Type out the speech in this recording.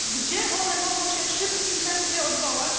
Gdzie one mogą się w szybkim tempie odwołać?